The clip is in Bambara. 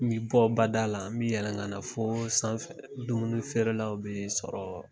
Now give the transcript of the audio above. N bɔ ba bada la n bɛ yɛlɛn ka na fo sanfɛ dumunifeerelaw bɛ sɔrɔ